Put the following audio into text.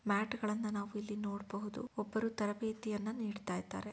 Mat ಗಳನ್ನು ನಾವು ಇಲ್ಲಿ ನೋಡಬಹುದು ಒಬ್ಬರು ತರಬೇತಿಯನ್ನು ನೀಡ್ತಾ ಇದ್ದಾರೆ.